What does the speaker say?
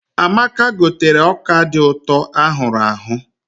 Amaka gotere ọka dị ụtọ a hụrụ ahụ.